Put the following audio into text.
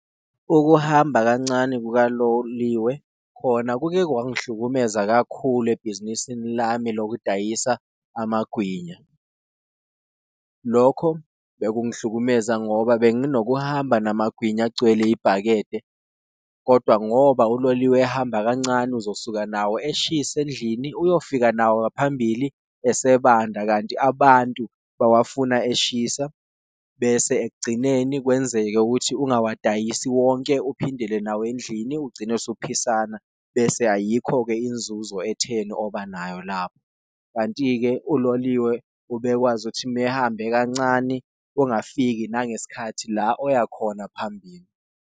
Ukuhamba kancane kukaloliwe khona kuke kwangihlukumeza kakhulu ebhizinisini lami lokudayisa amagwinya, lokho bekungihlukumeza ngoba benginokuhamba namagwinya agcwele ibhakede. Kodwa ngoba uloliwe ehamba kancane uzosuka nawo eshisa endlini, uyofika nawo phambili esebanda kanti abantu bawafuna eshisa bese ekugcineni, kwenzeke ukuthi uyawadayisi wonke uphindele nawo endlini. Ugcine usuphisana bese ayikho-ke inzuzo etheni obanayo lapho, kanti-ke uloliwe ubekwazi ukuthi mehambe kancane ungafiki nangesikhathi la oya khona phambili.